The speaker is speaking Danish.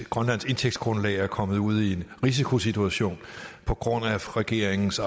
grønlands indtægtsgrundlag er kommet ud i en risikosituation på grund af regeringens